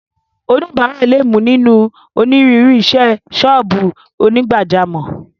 Oníbàárà lè mú nínú onírúurú isẹ́ sọ́ọ̀bù onígbàjámọ̀.